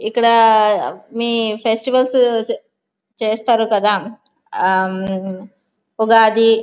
ఇక్కడ మీ ఫెస్టివల్స్ చేస్తారు కదా ఉగాది --